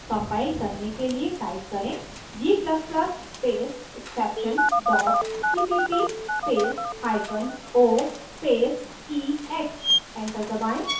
compile करने के लिए type करें g ++ space exception dot cpp space hyphen o space ex enter दबाएं